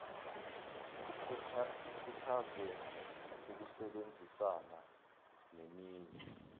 ikhuthaze ukusebenzisana neminye